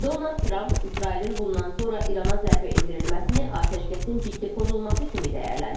Donald Tramp İsrailin bundan sonra İrana zərbə endirilməsini atəşkəsin ciddi pozulması kimi dəyərləndirib.